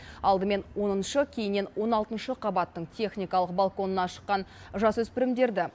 алдымен оныншы кейіннен он алтыншы қабаттың техникалық балконына шыққан жасөспірімдерді